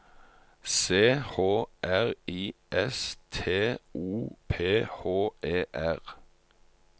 C H R I S T O P H E R